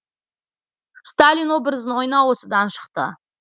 сталин образын ойнау осыдан шықты